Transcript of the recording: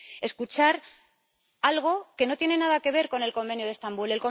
escuchar algo que no tiene nada que ver con el Convenio de Estambul.